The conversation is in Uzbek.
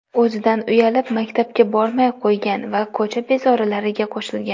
O‘zidan uyalib, maktabga bormay qo‘ygan va ko‘cha bezorilariga qo‘shilgan.